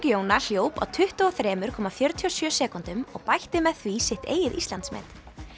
Jóna hljóp á tuttugu og þrjú komma fjörutíu og sjö sekúndum og bætti með því sitt eigið Íslandsmet